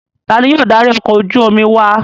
Ta ni yóò darí ọkọ̀ ojú-omi wa?